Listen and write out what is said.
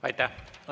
Aitäh!